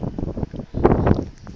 dineo